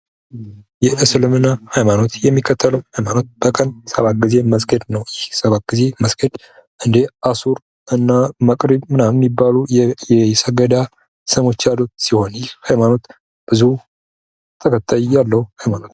የእስምና ሃይሞኖት የሚከተሉ ሃይማኖት በቀን ሰባት ጊዜ መስገድ ነው። ይህ ሰባት ጊዜ መስገድ እንደ መሱር ምናምን የሚባሉ የሰገዳ ስሞች ያሉት ሲሆን፤ ይህ ሃይማኖት ብዙ ተከታይ ያለው ሃይማኖት ነው።